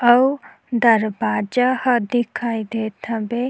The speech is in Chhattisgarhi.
अऊ दरवाजा ह दिखाई देत हवे।